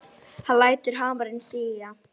Hann lætur hamarinn síga.